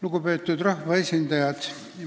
Lugupeetud rahvaesindajad!